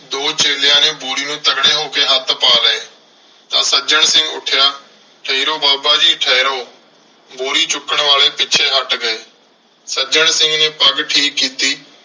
ਦੋ ਚੇਲਿਆਂ ਨੇ ਬੋਰੀ ਨੂੰ ਤਗੜੇ ਹੋ ਕੇ ਹੱਥ ਲਾ ਲਏ। ਤਾਂ ਸੱਜਣ ਸਿੰਘ ਉੱਠਿਆ। ਠਹਿਰੋ ਬਾਬਾ ਜੀ ਠਹਿਰੋ। ਬੋਰੀ ਚੁੱਕਣ ਵਾਲੇ ਪਿੱਛੇ ਹੱਟ ਗਏ। ਸੱਜਣ ਸਿੰਘ ਨੇ ਪੱਗ ਠੀਕ ਕੀਤੀ।